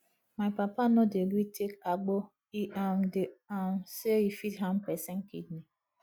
my papa no dey gree take agbo e um dey um sey e fit harm pesin kidney